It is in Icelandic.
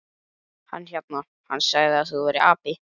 Hann hérna. hann sagði að þú værir api.